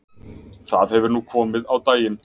Það hefur nú komið á daginn